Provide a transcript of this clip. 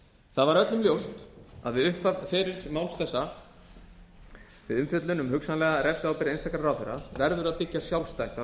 það var öllum ljóst að við upphaf ferils máls þessa við umfjöllun um hugsanlega refsiábyrgð einstakra ráðherra verður að byggja sjálfstætt á